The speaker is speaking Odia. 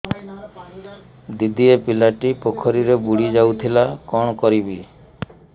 ଦିଦି ଏ ପିଲାଟି ପୋଖରୀରେ ବୁଡ଼ି ଯାଉଥିଲା କଣ କରିବି